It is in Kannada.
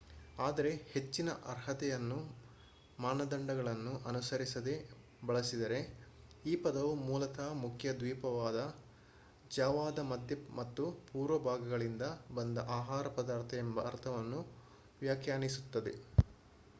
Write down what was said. ಆದರೆ ಹೆಚ್ಚಿನ ಅರ್ಹತೆಗಳನ್ನು ಮಾನದಂಡಗಳನ್ನು ಅನುಸರಿಸದೇ ಬಳಸಿದರೆ ಈ ಪದವು ಮೂಲತಃ ಮುಖ್ಯ ದ್ವೀಪವಾದ ಜಾವಾದ ಮಧ್ಯ ಮತ್ತು ಪೂರ್ವ ಭಾಗಗಳಿಂದ ಬಂದ ಆಹಾರ ಪದಾರ್ಥ ಎಂಬ ಅರ್ಥವನ್ನು ವ್ಯಾಖ್ಯಾನಿಸುತ್ತದೆ